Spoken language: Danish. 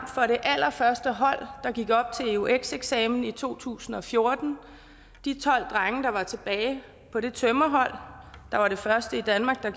for det allerførste hold der gik op til eux eksamen i to tusind og fjorten de tolv drenge der var tilbage på det tømrerhold der var det første i danmark der